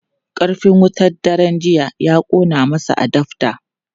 Karfin wutar daren jiya ya kona masa adaftar.